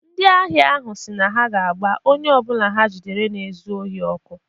Ndị ahịa ahụ siri na ha ga-agba onye ọ bụla ha jidere na-ezu ohi ọkụ